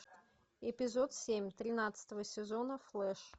эпизод семь тринадцатого сезона флэш